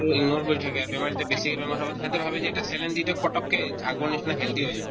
তো ignore কৰি থাকে বেমাৰ যে বেছিকে বেমাৰ হ'ব সিহঁতে ভাবে যে এটা saline দিলে পতককে আগৰ নিচিনা healthy হৈ যাব